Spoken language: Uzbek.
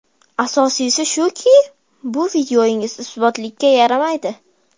Asosiysi shuki, bu videongiz isbotlikka yaramaydi.